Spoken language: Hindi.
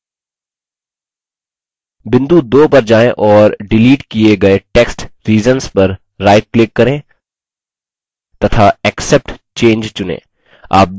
बिंदु 2 पर जाएँ और डिलीट किये गये टेक्स्ट reasons पर राइट क्लिक करें तथा accept change चुनें